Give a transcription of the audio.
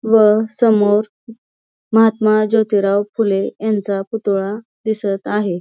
व समोर महात्मा जोतिराव फुले यांचा पुतळा दिसत आहे.